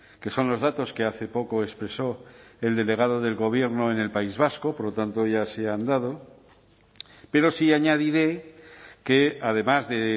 que son los datos que hace poco expresó el delegado del gobierno en el país vasco por lo tanto ya se han dado pero sí añadiré que además de